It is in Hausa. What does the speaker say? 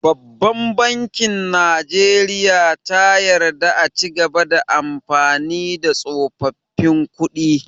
Babban bankin najeriya ta yarda a cigaba da amfani da tsofaffin kuɗi